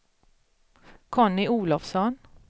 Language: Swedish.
Conny Olovsson